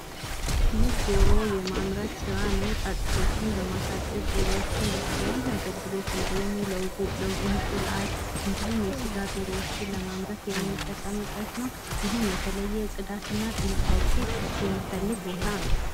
ይህ ዶሮ የማምረት ስራ ነው። ጫጩቶችን በማሳደግ ዶሮዎችን ለተለያየ አገልግሎት እንድሁም እንቁላል እንድሁም የስጋ ዶሮዎችን ለማምረት የምንጠቀምበት ነው። ይህም የተለየ ጽዳትና ጥንቃቄ የሚፈልግ ቦታ ነው።